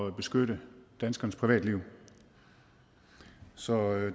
at beskytte danskernes privatliv så